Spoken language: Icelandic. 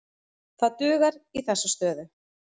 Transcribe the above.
Það dugar í þessa stöðu.